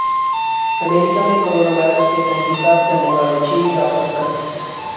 امریکہ میں corona virus کی تحقیقات کرنے والا چینی ڈاکٹر قتل